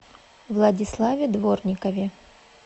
владиславе дворникове